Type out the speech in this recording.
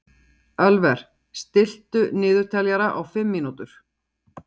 Ölver, stilltu niðurteljara á fimm mínútur.